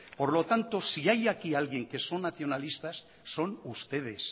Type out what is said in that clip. por lo tanto si hay aquí alguien que son nacionalistas son ustedes